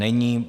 Není.